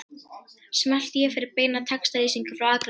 Smelltu hér fyrir beina textalýsingu frá Akranesi